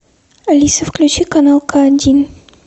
алиса включи канал к один